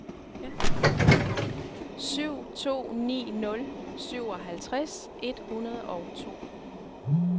syv to ni nul syvoghalvtreds et hundrede og to